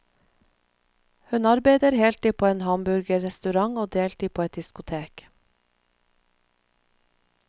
Hun arbeider heltid på en hamburgerrestaurant og deltid på et diskotek.